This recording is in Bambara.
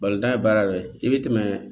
ye baara dɔ ye i bɛ tɛmɛ